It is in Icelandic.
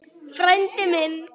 Frændi minn!